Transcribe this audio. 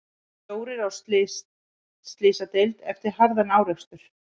Fjórir á slysadeild eftir harðan árekstur